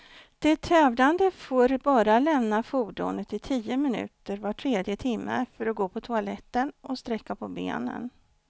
De tävlande får bara lämna fordonet i tio minuter var tredje timme, för att gå på toaletten och sträcka på benen.